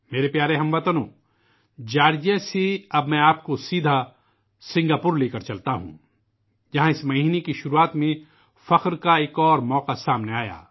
میرے عزیز اہل وطن، اب مجھے آپ کو جارجیا سے سنگاپور لے جانے دیجئے، جہاں اس ماہ کے آغاز میں ایک اور شاندار موقع حاصل ہوا